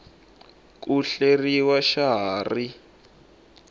ku hleriw xa ha ri